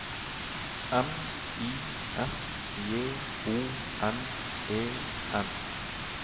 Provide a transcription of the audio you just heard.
M I S J O N E N